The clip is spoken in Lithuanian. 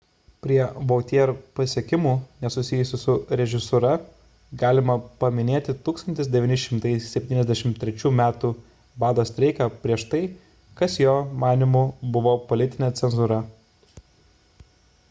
prie vautier pasiekimų nesusijusių su režisūra galima paminėti 1973 m bado streiką prieš tai kas jo manymu buvo politinė cenzūra